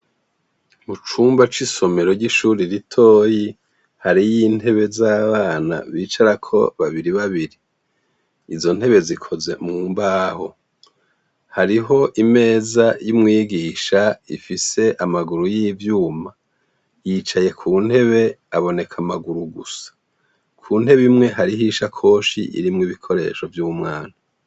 Mu cumba c'isomero ry'ishuri ritoyi hari y'intebe z'abana bicarako babiri babiri izo ntebe zikoze mu mbaho hariho imeza y'umwigisha ifise amaguru y'ivyuma yicaye ku ntebe aboneka amaguru gusa ku nte bimwe hariho isha koshi irimwo ibikoresho vy'umwana.